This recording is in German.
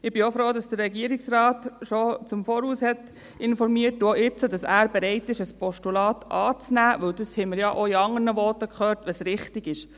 Ich bin auch froh, dass der Regierungsrat bereits im Voraus informiert hat und dass er jetzt bereit ist, ein Postulat anzunehmen – denn dies haben wir ja auch in anderen Voten gehört –, was richtig ist.